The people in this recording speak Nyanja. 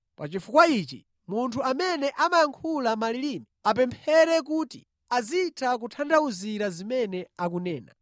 Pa chifukwa ichi munthu amene amayankhula malilime apemphere kuti azitha kutanthauzira zimene akunena.